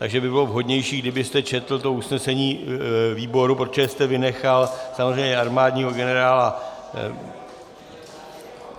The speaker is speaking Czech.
Takže by bylo vhodnější, kdybyste četl to usnesení výboru, protože jste vynechal samozřejmě armádního generála...